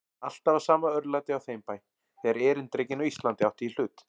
Alltaf var sama örlætið á þeim bæ, þegar erindrekinn á Íslandi átti í hlut.